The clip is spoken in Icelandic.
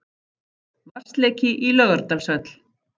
Vatnsleki í Laugardalshöll